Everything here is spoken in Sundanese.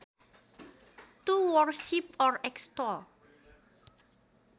To worship or extol